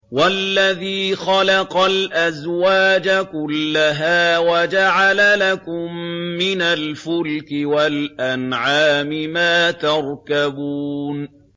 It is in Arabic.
وَالَّذِي خَلَقَ الْأَزْوَاجَ كُلَّهَا وَجَعَلَ لَكُم مِّنَ الْفُلْكِ وَالْأَنْعَامِ مَا تَرْكَبُونَ